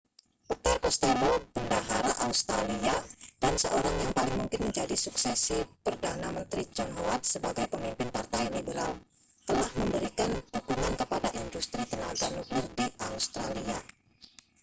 peter costello bendahara australia dan seorang yang paling mungkin menjadi suksesi perdana menteri john howard sebagai pemimpin partai liberal telah memberikan dukungan kepada industri tenaga nuklir di australia